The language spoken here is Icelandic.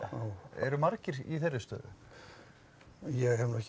eru margir í þeirri stöðu ég hef nú ekki